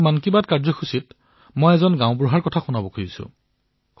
আজি মন কী বাত কাৰ্যসূচীত মই আপোনাক এজন পঞ্চায়ত কৰ্মীৰ কথা শুনোৱাব বিচাৰিছো